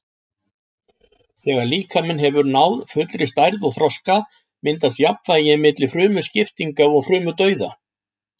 Þegar líkaminn hefur náð fullri stærð og þroska myndast jafnvægi milli frumuskiptinga og frumudauða.